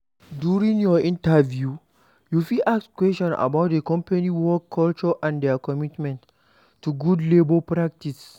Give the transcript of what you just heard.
During your interview, you fit ask questions about di company work culture and their commitment to good labour practice